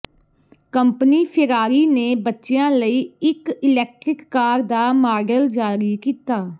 company Ferrari ਨੇ ਬੱਚਿਆਂ ਲਈ ਇਕ ਇਲੈਕਟ੍ਰਿਕ ਕਾਰ ਦਾ ਮਾਡਲ ਜਾਰੀ ਕੀਤਾ